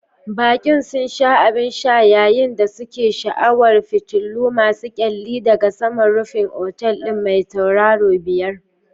Baƙi sun sha abin sha yayin da suke sha'awar fitilu masu kyalli daga saman rufin otal ɗin mai tauraro biyar.